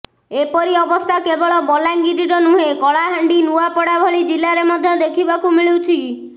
ଏପରି ଅବସ୍ଥା କେବଳ ବଲାଙ୍ଗିରରେ ନୁହେଁ କଳାହାଣ୍ଡି ନୂଆପଡା ଭଳି ଜିଲ୍ଲାରେ ମଧ୍ୟ ଦେଖିବାକୁ ମିଳୁଛି